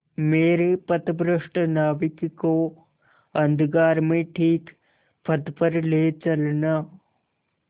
मेरे पथभ्रष्ट नाविक को अंधकार में ठीक पथ पर ले चलना